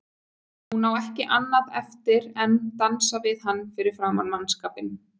Hún á ekki annað eftir en dansa við hann fyrir framan mannskapinn.